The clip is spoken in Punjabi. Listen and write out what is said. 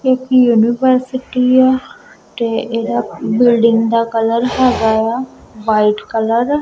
ਇਹ ਇੱਕ ਯੂਨੀਵਰਸਿਟੀ ਆ ਤੇ ਇਹਦਾ ਬਿਲਡਿੰਗ ਦਾ ਕਲਰ ਹੈਗਾ ਆ ਵਾਈਟ ਕਲਰ ।